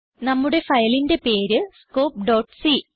നമ്മുടെ ഫയലിന്റെ പേര് scopeസി